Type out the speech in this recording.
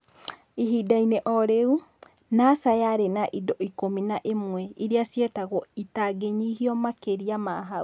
Ihinda-inĩ o rĩu, NASA yarĩ na indo ikũmi na ĩmwe iria cietagwo "itangĩnyihio makĩria ma hau".